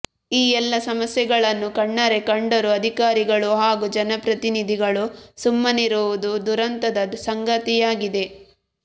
ಈ ಎಲ್ಲ ಸಮಸ್ಯೆಗಳನ್ನು ಕಣ್ಣಾರೆ ಕಂಡರೂ ಅಧಿಕಾರಿಗಳು ಹಾಗೂ ಜನಪ್ರತಿನಿಧಿಗಳು ಸುಮ್ಮನಿರುವುದು ದುರಂತದ ಸಂಗತಿಯಾಗಿದೆ